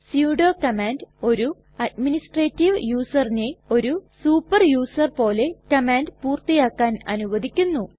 sudo command ഒരു administrative യുസറിനെ ഒരു സൂപ്പർ യുസർ പോലെ കമാൻഡ് പൂർത്തിയാക്കാൻ അനുവദിക്കുന്നു